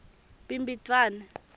bhimbidvwane